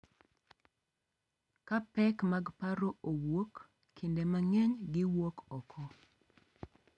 Ka pek mag paro owuok, kinde mang’eny giwuok oko,